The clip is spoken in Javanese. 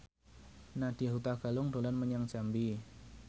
Nadya Hutagalung dolan menyang Jambi